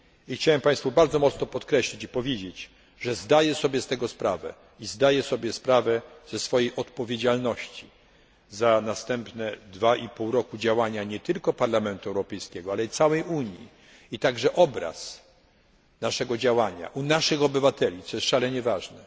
Chciałem bardzo mocno podkreślić i powiedzieć, że zdaję sobie z tego sprawę i zdaję sobie sprawę ze swojej odpowiedzialności za następne dwa i pół roku działania nie tylko Parlamentu Europejskiego, ale całej Unii, a także za obraz naszego działania u naszych obywateli, co jest szalenie ważne.